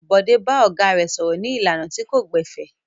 Bọ̀dé bá ọ̀gá rẹ̀ sọ̀rọ̀ ní ìlànà tí kò gbẹ̀fẹ̀.